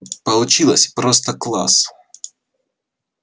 получилось просто класс